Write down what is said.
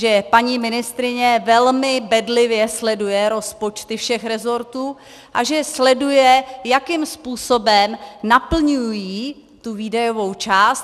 Že paní ministryně velmi bedlivě sleduje rozpočty všech resortů a že sleduje, jakým způsobem naplňují tu výdajovou část.